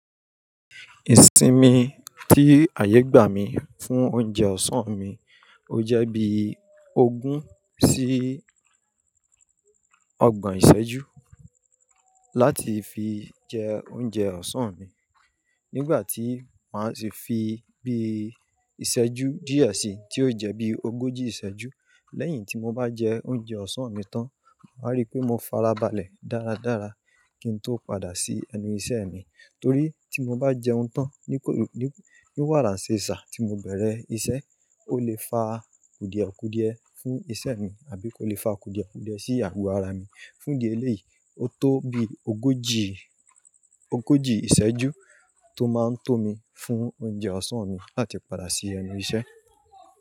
Ìsinmi tí ayé gbà mí fún oúnjẹ ọ̀sán mi, ó jẹ́ bí ogún sí ọgbọ̀n ìṣẹ́jú láti fi jẹ oúnjẹ ọ̀sán mi. Nígbà tí màá ṣe fi bí ìṣẹ́jú díẹ̀ sí, tí ó jẹ́ bí ogójì ìṣẹ́jú, lẹ́yìn tí mo bá jẹ oúnjẹ ọ̀sán mi tán, màá rí pé mo farabalẹ̀ dáradára kí n tó padà sí ẹnu iṣẹ́ mi. Torí tí mo bá jẹun tán ní kò, níwàránṣéṣà tí mo bẹ̀rẹ̀ isẹ́, ó lè fa kùdìẹ̀kùdìẹ fún isẹ́ mi, àbí kó lè fa kùdìẹ̀kùdìẹ sí àgọ́ ara mi. Fún di ẹlẹ́yìí, ó tó bí ogójì, ogójì ìṣẹ́jú tó máa ń tó mi fún oúnjẹ ọ̀sán mi láti padà sí ẹnu iṣẹ́